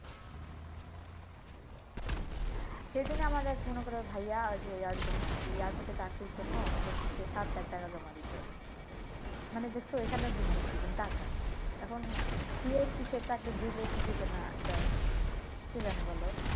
সেদিক আমার এক ভাইয়া মনে কর যে ইয়ার জন্য airport এ চাকরির জন্য বলতাছে সাত লাখ টাকা জমা দিতে। মানি দেখছো এখানে ও দুর্ণীতি টাকা এখন আহ sure কি সে চাকরি দিবে কি দিবে না এটা কে জানে বলো?